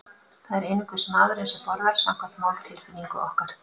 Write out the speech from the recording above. Það er einungis maðurinn sem borðar, samkvæmt máltilfinningu okkar.